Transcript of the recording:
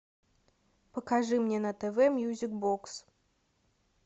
покажи мне на тв мьюзик бокс